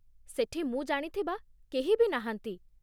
ସେଠି ମୁଁ ଜାଣିଥିବା କେହି ବି ନାହାନ୍ତି ।